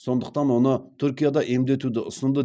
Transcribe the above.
сондықтан оны түркияда емдетуді ұсынды